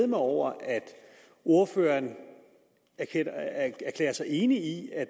mig over at ordføreren erklærer sig enig i at